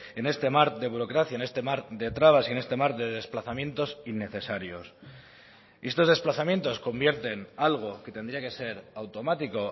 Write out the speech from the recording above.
en este mar de burocracia en este mar de trabas y en este mar de desplazamientos innecesarios y estos desplazamientos convierten algo que tendría que ser automático